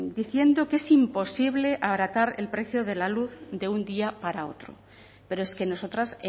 diciendo que es imposible abaratar el precio de la luz de un día para otro pero es que nosotras